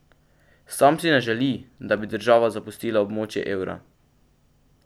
Sam si ne želi, da bi država zapustila območje evra.